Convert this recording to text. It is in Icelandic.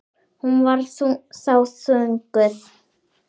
Hún var þá þunguð.